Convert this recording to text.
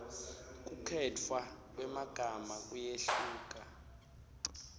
kukhetfwa kwemagama kuyehluka